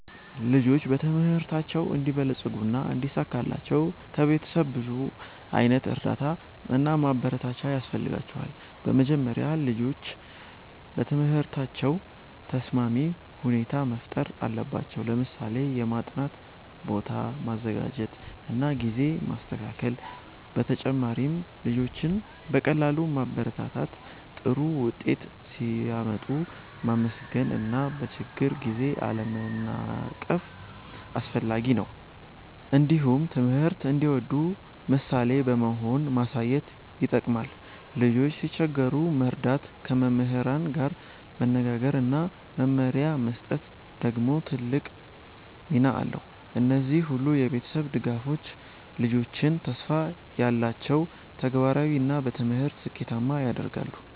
ልጆች በትምህርታቸው እንዲበለጽጉና እንዲሳካላቸው ከቤተሰብ ብዙ ዓይነት እርዳታ እና ማበረታቻ ያስፈልጋቸዋል። በመጀመሪያ ወላጆች ለትምህርታቸው ተስማሚ ሁኔታ መፍጠር አለባቸው፣ ለምሳሌ የማጥናት ቦታ ማዘጋጀት እና ጊዜ ማስተካከል። በተጨማሪም ልጆችን በቀጥታ ማበረታታት፣ ጥሩ ውጤት ሲያመጡ ማመስገን እና በችግር ጊዜ አለመናቀፍ አስፈላጊ ነው። እንዲሁም ትምህርት እንዲወዱ ምሳሌ በመሆን ማሳየት ይጠቅማል። ልጆች ሲቸገሩ መርዳት፣ ከመምህራን ጋር መነጋገር እና መመሪያ መስጠት ደግሞ ትልቅ ሚና አለው። እነዚህ ሁሉ የቤተሰብ ድጋፎች ልጆችን ተስፋ ያላቸው፣ ተግባራዊ እና በትምህርት ስኬታማ ያደርጋሉ።